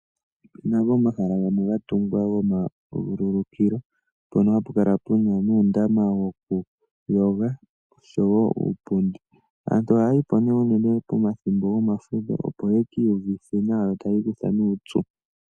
Opu na omahala gamwe ga tungwa goma vululukilo mpono hapu kala pu na uundama wokuyoga oshowo uupundi. Aantu ohaya yi po unene pomathimbo gomafudho, opo ya ka iyuvithe nawa yo taya ikutha uupyu.